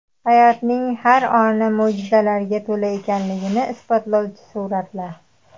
Hayotning har oni mo‘jizalarga to‘la ekanligini isbotlovchi suratlar .